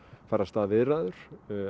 fara af stað viðræður